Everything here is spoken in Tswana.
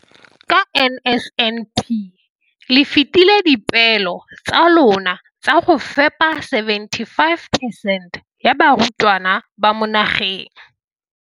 ka NSNP le fetile dipeelo tsa lona tsa go fepa 75 percent ya barutwana ba mo nageng.